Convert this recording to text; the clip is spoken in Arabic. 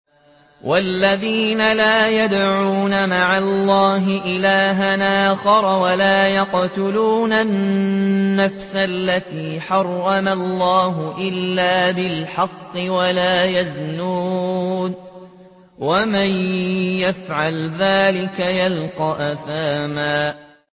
وَالَّذِينَ لَا يَدْعُونَ مَعَ اللَّهِ إِلَٰهًا آخَرَ وَلَا يَقْتُلُونَ النَّفْسَ الَّتِي حَرَّمَ اللَّهُ إِلَّا بِالْحَقِّ وَلَا يَزْنُونَ ۚ وَمَن يَفْعَلْ ذَٰلِكَ يَلْقَ أَثَامًا